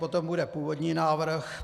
Potom bude původní návrh.